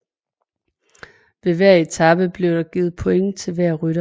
Ved hver etape blev der givet point til hver rytter